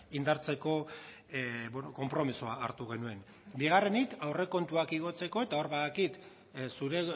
indartzeko konpromisoa hartu genuen bigarrenik aurrekontuak igotzeko eta hor badakit zure